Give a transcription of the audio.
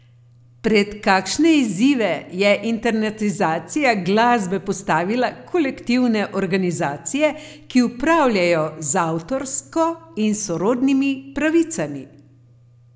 Pred kakšne izzive je internetizacija glasbe postavila kolektivne organizacije, ki upravljajo z avtorsko in sorodnimi pravicami?